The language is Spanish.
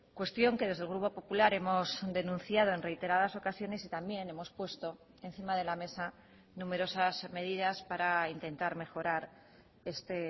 cuestión que desde el grupo popular hemos denunciado en reiteradas ocasiones y también hemos puesto encima de la mesa numerosas medidas para intentar mejorar este